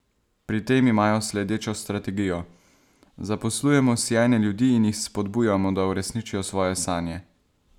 Pri tem imajo sledečo strategijo: "Zaposlujemo sijajne ljudi in jih spodbujamo, da uresničijo svoje sanje.